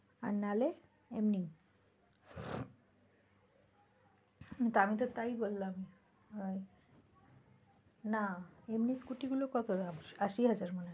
আর নাহলে এমনি হম আমি তো তাই বললাম আহ , না এমনি scooty গুলো কত দাম আশি হাজার?